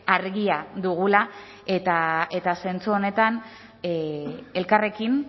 argia dugula eta zentzu honetan elkarrekin